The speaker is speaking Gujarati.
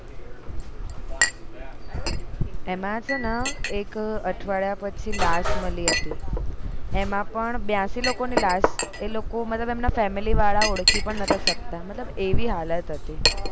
એમાં છેને એક અઠવાડિયા પછી લાશ મળી હતી એમાં પણ બ્યાશી લોકો ની લાશ એ લોકો મતલબ એમને family વાળા ઓળખી પણ નોટા શકતા મતલબ એવી હાલત હતી